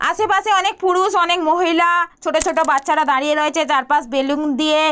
আশেপাশে অনেক পুরুষ অনেক মহিলা ছোটো ছোটো বাচ্চারা দাঁড়িয়ে রয়েছে চারপাশ বেলুন দিয়ে--